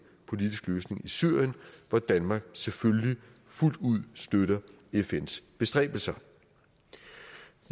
politisk løsning i syrien hvor danmark selvfølgelig fuldt ud støtter fns bestræbelser